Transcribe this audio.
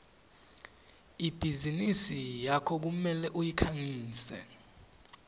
ibhizinisi yakho kumele uyikhangise